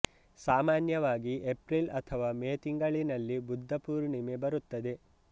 ಸಾಮಾನ್ಯವಾಗಿ ಏಪ್ರಿಲ್ ಅಥವಾ ಮೇ ತಿಂಗಳಿನಲ್ಲಿ ಬುದ್ಧ ಪೂರ್ಣಿಮೆ ಬರುತ್ತದೆ